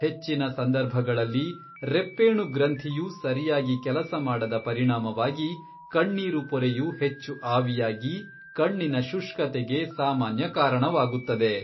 ಹೆಚ್ಚಿನ ಸಂದರ್ಭಗಳಲ್ಲಿ ರೆಪ್ಪೇಣು ಗ್ರಂಥಿಯು ಸರಿಯಾಗಿ ಕೆಲಸ ಮಾಡದ ಪರಿಣಾಮವಾಗಿ ಕಣ್ಣೀರು ಪೂರೆಯು ಹೆಚ್ಚು ಆವಿಯಾಗಿ ಕಣ್ಣಿನ ಶುಷ್ಕತೆಗೆ ಸಾಮಾನ್ಯ ಕಾರಣವಾಗುತ್ತದೆ .